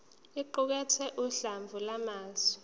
iqukathe uhlamvu lwamazwi